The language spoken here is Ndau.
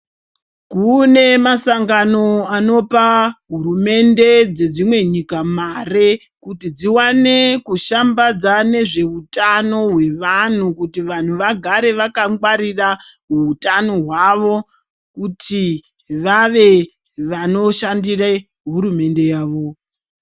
Kunemasangano anopa hurumende dzedzimwe nyika mare kuti dziwane kushambadza nezvehutano wevantu kuti vantu vagare vakangwarira hutano hwavo, kuti vave vanoshandire hurumende yavo.